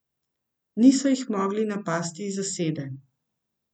Niso jih mogli napasti iz zasede.